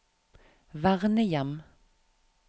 vernehjem